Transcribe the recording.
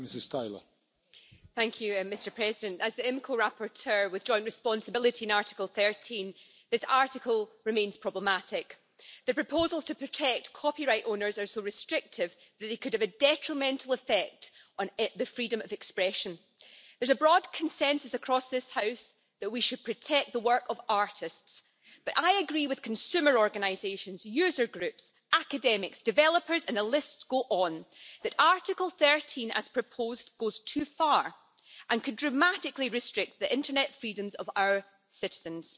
Mr President, as rapporteur for the Committee on the Internal Market and Consumer Protection with joint responsibility on Article 13, I must say that this article remains problematic. The proposals to protect copyright owners are so restrictive that they could have a detrimental effect on the freedom of expression. There's a broad consensus across this House that we should protect the work of artists, but I agree with consumer organisations, user groups, academics, developers and the list goes on that Article 13, as proposed, goes too far and could dramatically restrict the internet freedoms of our citizens.